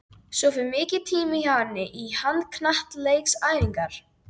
Svo fer mikill tími hjá henni í handknattleiksæfingar.